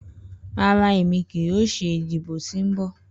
Rara, Emi kii yoo ṣe idibo ti nbọ.